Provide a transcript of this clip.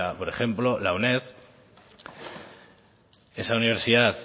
por ejemplo la uned esa universidad